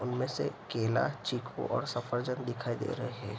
उन में से केला चीकू और दिखाई दे रहे हैं।